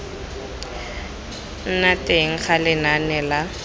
nna teng ga lenane la